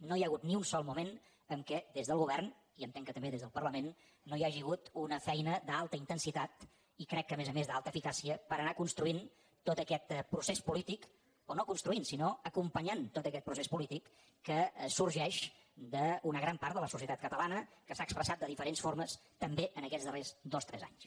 no hi ha hagut ni un sol moment en què des del govern i entenc que també des del parlament no hi hagi hagut una feina d’alta intensitat i crec que a més a més d’alta eficàcia per anar construint tot aquest procés polític o no construint sinó acompanyant tot aquest procés polític que sorgeix d’una gran part de la societat catalana que s’ha expressat de diferents formes també aquests darrers dos tres anys